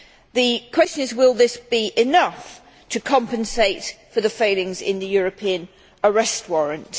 The question is will this be enough to compensate for the failings of the European Arrest Warrant?